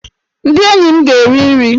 Ndị enyi m ga-eri nri!